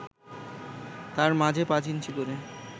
তার মাঝে পাঁচ ইঞ্চি করে